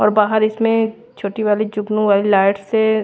और बाहर इसमें छोटी वाली जुगनू वाली लाइट से--